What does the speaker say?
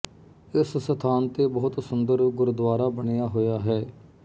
ਇਸ ਸਥਾਨ ਤੇ ਬਹੁਤ ਸੁੰਦਰ ਗੁਰਦੁਆਰਾ ਬਣਿਆ ਹੋਇਆ ਹੈ